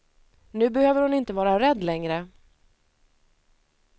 Nu behöver hon inte vara rädd längre.